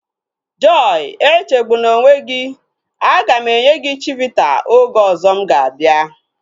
Joy echegbuna onwe gị, aga m enye gị chivita oge ọzọ mụ ga-abịa